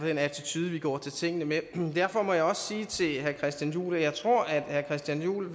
den attitude vi går til tingene med derfor må jeg også sige til herre christian juhl at jeg tror at herre christian juhl